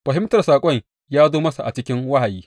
Fahimtar saƙon ya zo masa a cikin wahayi.